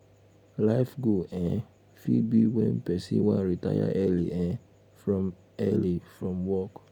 life goal um fit be when um person wan retire early um from early um from work